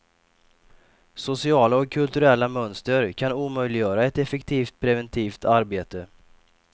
Sociala och kulturella mönster kan omöjliggöra ett effektivt preventivt arbete.